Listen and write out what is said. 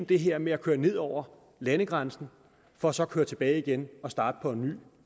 det her med at køre ned over landegrænsen for så at køre tilbage igen og starte på en ny